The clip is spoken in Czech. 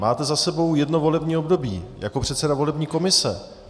Máte za sebou jedno volební období jako předseda volební komise.